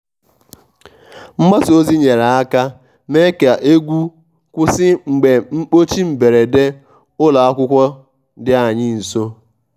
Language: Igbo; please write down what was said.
mgbasa ozi nyere aka mee ka egwu kwụsị mgbe mkpọchi mberede ụlọ akwụkwọ dị anyị nso.